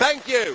Thank you.